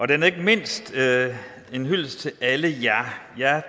den er ikke mindst en hyldest til alle jer